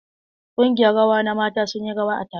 Ƙungiyar rawa na mata sun yi rawa a taron.